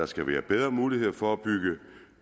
skal give bedre muligheder for at bygge